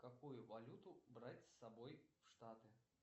какую валюту брать с собой в штаты